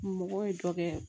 Mɔgɔ ye dɔ kɛ